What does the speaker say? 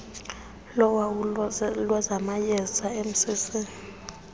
lowawulo lwezamayeza mcc